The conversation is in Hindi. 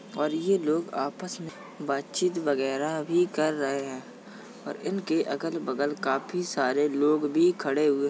और ये लोग आपस में बात चीत वगेरा भी कर रहे हैं और इनके अगल बगल काफी सारे लोग भी खड़े हुए --